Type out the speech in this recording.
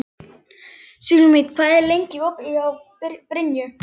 Súlamít, hvað er lengi opið í Brynju?